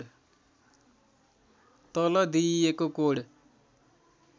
तल दिइएको कोड